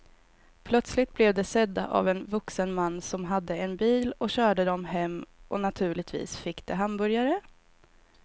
Plötsligt blev de sedda av en vuxen man som hade en bil och körde dem hem och naturligtvis fick de hamburgare.